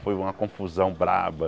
Foi uma confusão braba.